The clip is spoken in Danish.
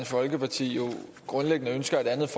folkeparti